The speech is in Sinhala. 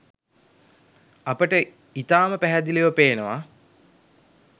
අපට ඉතාම පැහැදිලිව පේනවා